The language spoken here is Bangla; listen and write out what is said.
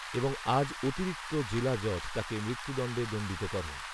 এবং আজ অতিরিক্ত জেলা জজ তাকে মৃত্যুদণ্ডে দণ্ডিত করেন